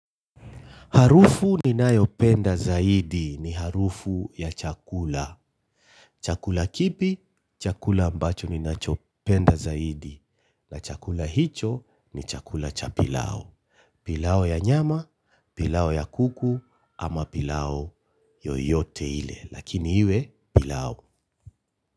Harufu ninayoipenda zaidi ni harufu ya chakula. Chakula kipi? Chakula ambacho ninachopenda zaidi. Na chakula hicho ni chakula cha pilau. Pilau ya nyama, pilau ya kuku ama pilau yoyote ile. Lakini iwe pilau.